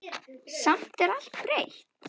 Samt er allt breytt.